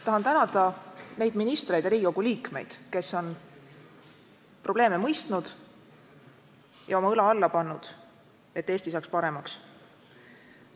Tahan tänada neid ministreid ja Riigikogu liikmeid, kes on probleeme mõistnud ja oma õla alla pannud, et Eesti saaks paremaks.